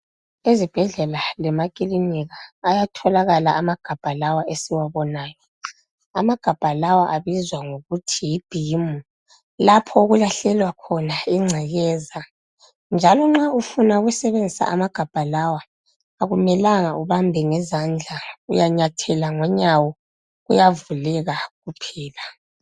Ezibhedlela lemakilinika ayatholakala amagabha lawa esiwubonayo amagabha lawa abizwa ngokuthi yibin lapho okulahlelwa khona ingcekeza njalo nxa ufuna ukusebenzisa amagabha lawa akumelanga ubambe ngezandla uyanyathela ngonyawo kuyavuleka kuphela.